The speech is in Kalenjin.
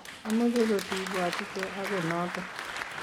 ameche kotibwatite ako noto